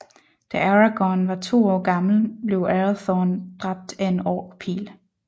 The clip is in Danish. Da Aragorn var to år gammel blev Arathorn dræbt af en orkpil